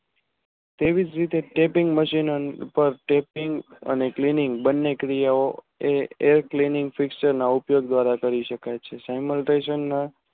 તેવીજ રીતે Tatting Machine Tatting અને બને ક્રિયા ઓ એ ઉપયોગ દ્વારા કરી શકાય છે